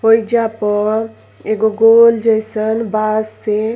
होइजा पर एगो गोल जैसन बाश से --